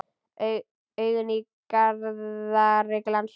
Augun í Garðari glansa.